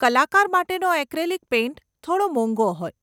કલાકાર માટેનો acrylic paint થોડો મોંઘો હોય.